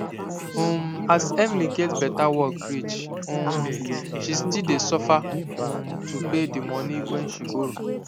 um as emily get better work reach um she still dey suffer um to pay the money wen she borrow